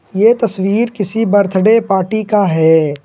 यह तस्वीर किसी बर्थडे पार्टी का है।